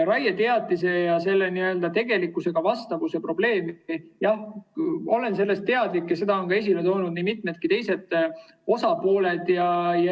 Raieteatise ja selle n-ö tegelikkusele vastavuse probleemist olen teadlik ja seda on esile toonud nii mitu teistki osapoolt.